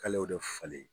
K'ale y'o de falen